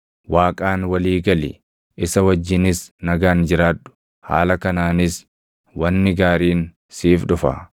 “Waaqaan walii gali; isa wajjinis nagaan jiraadhu; haala kanaanis wanni gaariin siif dhufa.